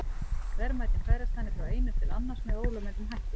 Verðmætin færast þannig frá einum til annars með ólögmætum hætti.